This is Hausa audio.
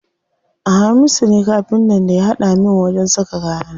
Hamisu ne Kafintan da ya haɗa min wajen saka kayana.